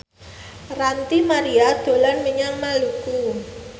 Ranty Maria dolan menyang Palu